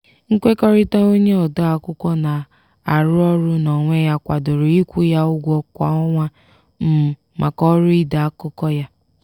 nkwekọrịta onye ode akwụkwọ na-arụ ọrụ n'onwe ya kwadoro ịkwụ ya ụgwọ kwa ọnwa um maka ọrụ ide akụkọ ya.